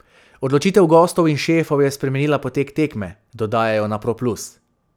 Odločitev gostov in šefov je spremenila potek tekme, dodajajo na Pro Plus.